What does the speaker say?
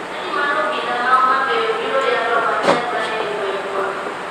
Chadi mar obila ma homabay obiro yalo wach nyasaye e gweng'wa.